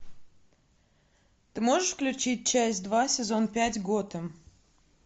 ты можешь включить часть два сезон пять готэм